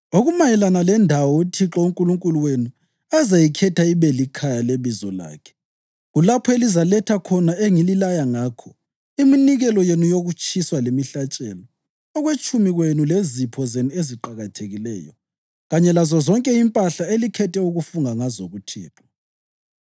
Okumayelana lendawo uThixo uNkulunkulu wenu azayikhetha ibe likhaya leBizo lakhe, kulapho elizaletha konke engililaya ngakho: iminikelo yenu yokutshiswa lemihlatshelo, okwetshumi kwenu lezipho zenu eziqakathekileyo, kanye lazozonke impahla elikhethe ukufunga ngazo kuThixo.